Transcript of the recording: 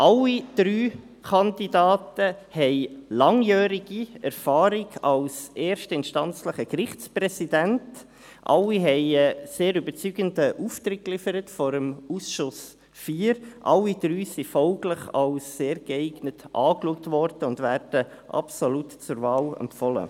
Alle drei Kandidaten haben langjährige Erfahrung als erstinstanzliche Gerichtspräsidenten, alle haben vor dem Ausschuss IV einen sehr überzeugenden Auftritt abgeliefert, alle drei wurden folglich als «sehr geeignet» betrachtet und werden absolut zur Wahl empfohlen.